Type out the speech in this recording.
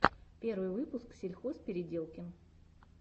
первый выпуск сельхозпеределкин